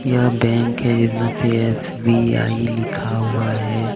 यह बैंक है जिसमें से एस_बी_आई लिखा हुआ है.